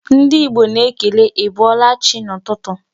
Ndị Igbo na-ekele ị bọọla chị n'ụtụtụ.